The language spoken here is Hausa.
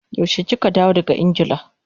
Yaushe kika dawo daga Ingila?